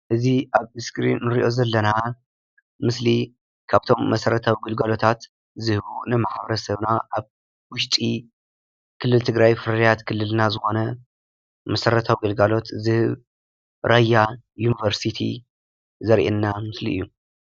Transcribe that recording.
እዚ ኣብ ስክሪዮን ንሪኦ ዘለና ምስሊ ካብቶም መሰረታዊ ግልጋሎታት ዝህቡ ንማሕበረሰብና ኣብ ዉሽጢ ክልል ትግራይ ፍርያት ክልልና ዝኾነ መሰረታዊ ግልጋሎት ዝህብ ራያ ዩንቨርሲቲ ዘርኢየና ምስሊ እዩ ።